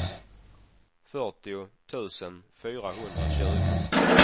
fyrtio tusen fyrahundratjugo